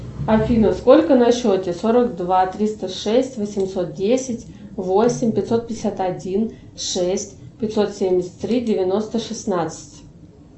афина сколько на счете сорок два триста шесть восемьсот десять восемь пятьсот пятьдесят один шесть пятьсот семьдесят три девяносто шестнадцать